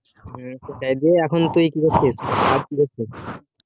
এখন তু কি করছিস কাজ কি করছিস